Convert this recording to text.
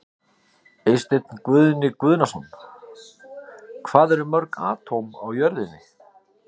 Spyrjandi: Eysteinn Guðni Guðnason Hvað eru mörg atóm á jörðinni?